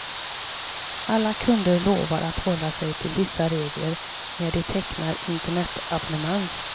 Alla kunder lovar att hålla sig till vissa regler när de tecknar internetabonnemang.